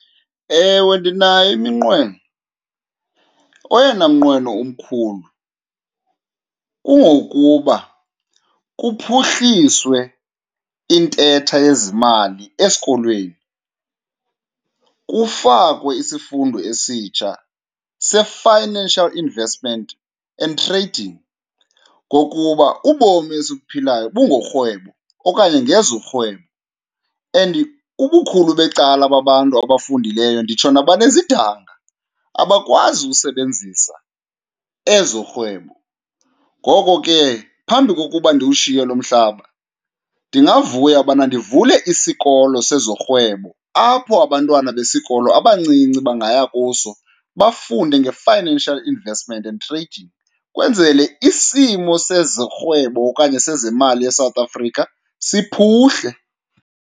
Ewe, ndinayo iminqweno. Oyena mnqweno umkhulu kungokuba kuphuhliswe intetha yezimali esikolweni, kufakwe isifundo esitsha se-financial investment and trading, ngokuba ubomi esibuphilayo bungorhwebo okanye ngezorhwebo and ubukhulu becala babantu abafundileyo nditsho nabanezidanga abakwazi usebenzisa ezorhwebo. Ngoko ke phambi kokuba ndiwushiye lo mhlaba ndingavuya ubana ndivule isikolo sezorhwebo apho abantwana besikolo abancinci bangaya kuso bafunde nge-financial investment and trading kwenzele isimo sezorhwebo okanye sezemali eSouth Africa siphuhle.